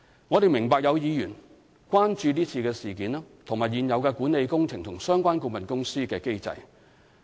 我們明白有議員關注這次事件，以及現有管理工程及相關顧問公司的機制。